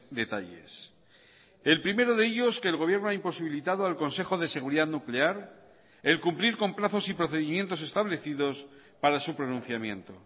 detalles el primero de ellos que el gobierno ha imposibilitado al consejo de seguridad nuclear el cumplir con plazos y procedimientos establecidos para su pronunciamiento